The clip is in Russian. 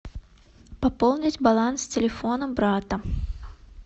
пополнить баланс телефона брата